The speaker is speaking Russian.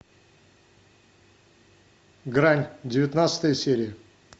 грань девятнадцатая серия